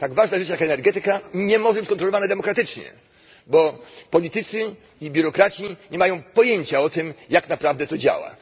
Tak ważna dziedzina jak energetyka nie może być kontrolowana demokratycznie, bo politycy i biurokraci nie mają pojęcia o tym, jak naprawdę to działa.